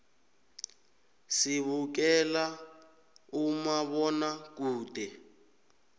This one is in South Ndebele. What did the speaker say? sibukela umabonakude